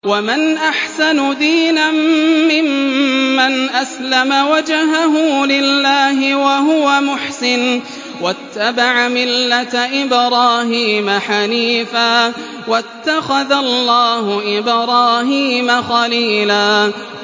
وَمَنْ أَحْسَنُ دِينًا مِّمَّنْ أَسْلَمَ وَجْهَهُ لِلَّهِ وَهُوَ مُحْسِنٌ وَاتَّبَعَ مِلَّةَ إِبْرَاهِيمَ حَنِيفًا ۗ وَاتَّخَذَ اللَّهُ إِبْرَاهِيمَ خَلِيلًا